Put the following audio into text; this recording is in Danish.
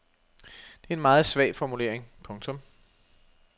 Det er en meget svag formulering. punktum